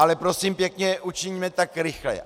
Ale prosím pěkně, učiňme tak rychle.